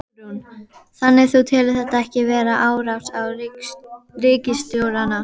Hugrún: Þannig þú telur þetta ekki vera árás á ríkisstjórnina?